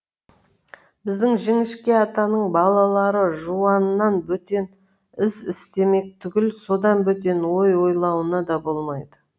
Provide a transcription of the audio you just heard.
біздің жіңішке атаның балалары жуаннан бөтен іс істемек түгіл содан бөтен ой ойлауына да болмайды